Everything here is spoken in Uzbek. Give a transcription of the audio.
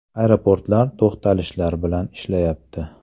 Aeroportlar to‘xtalishlar bilan ishlayapti.